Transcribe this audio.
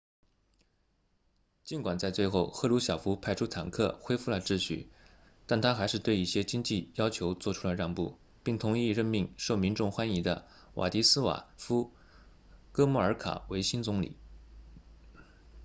尽管在最后赫鲁晓夫派出坦克恢复了秩序但他还是对一些经济要求做出了让步并同意任命受民众欢迎的瓦迪斯瓦夫哥穆尔卡 wladyslaw gomulka 为新总理